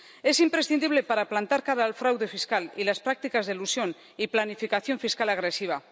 Es imprescindible para plantar cara al fraude fiscal y las prácticas de elusión y planificación fiscal agresiva.